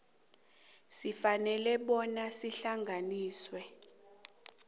sifanele bona sihlanganiswe